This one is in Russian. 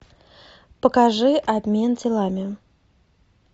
покажи обмен телами